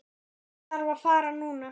Ég þarf að fara núna